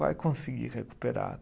Vai conseguir recuperar